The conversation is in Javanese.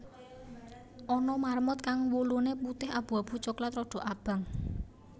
Ana marmut kang wuluné putih abu abu coklat rada abang